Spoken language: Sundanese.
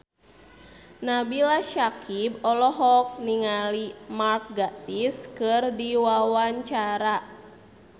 Nabila Syakieb olohok ningali Mark Gatiss keur diwawancara